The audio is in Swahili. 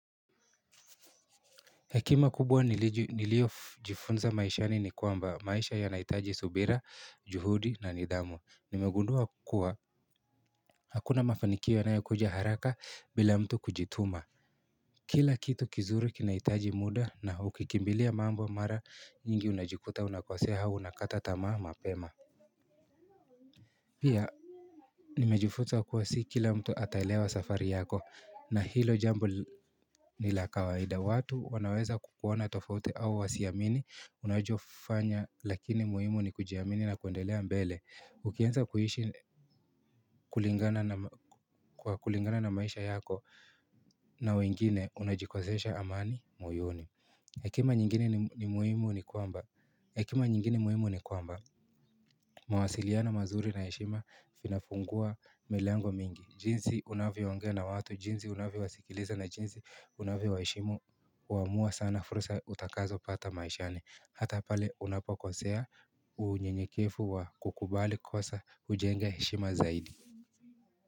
Hekia kubwa niliojifunza maishani ni kwamba maisha yanahitaji subira, juhudi na nidhamu. Nimegundua kuwa hakuna mafanikio yanayokuja haraka bila mtu kujituma. Kila kitu kizuri kinahitaji muda na ukikimbilia mambo mara nyingi unajikuta unakosea au unakata tamaa mapema. Pia nimejifunza kuwa si kila mtu ataelewa safari yako na hilo jambo ni la kawaida. Watu wanaweza kukuona tofauti au wasiamini, unachofanya, lakini muhimu ni kujiamini na kuendelea mbele. Ukianza kuishi kulingana na kwa kulingana na maisha yako na wengine, unajikosesha amani moyoni. Hekima nyingine ni hekima nyingine muhimu ni kwamba mawasiliano mazuri na heshima vinafungua milango mingi. Jinsi unavyoongea na watu, jinsi unavyowasikiliza na jinsi unavyowaheshimu huamua sana fursa utakazopata maishani. Hata pale unapokosea unyenyekevu wa kukubali kosa hujenga heshima zaidi.